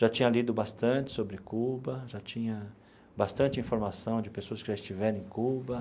Já tinha lido bastante sobre Cuba, já tinha bastante informação de pessoas que já estiveram em Cuba.